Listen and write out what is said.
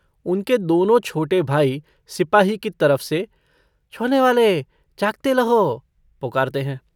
उनके दोनों छोटे भाई सिपाही की तरफ से छोनेवाले जागते लहो पुकारते हैं।